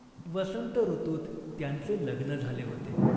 वसंत ऋतूत त्यांचे लग्न झाले होते.